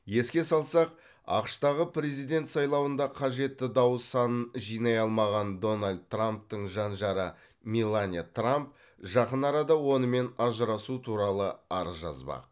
еске салсақ ақш тағы президент сайлауында қажетті дауыс санын жинай алмаған дональд трамптың жан жары меланья трамп жақын арада онымен ажырасу туралы арыз жазбақ